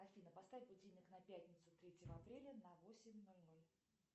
афина поставь будильник на пятницу третьего апреля на восемь ноль ноль